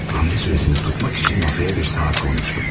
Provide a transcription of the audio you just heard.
Hərəkət müddətini saxlamaq üçün masanın üzərinə bir saat qoyulmuşdu.